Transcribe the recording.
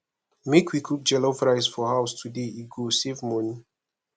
make we cook jollof rice for house today e go save money